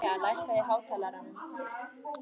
Svenni hlýðir á hana með athygli.